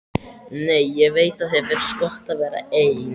Nei, ég veit að þér finnst gott að vera ein.